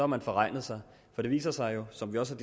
man forregnet sig det viser sig jo som vi også